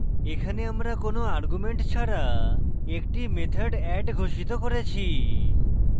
এখানে আমরা কোনো arguments ছাড়া একটি method add ঘোষিত করেছি